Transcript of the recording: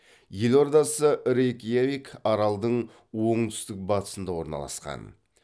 елордасы рейкьявик аралдың оңтүстік батысында орналасқан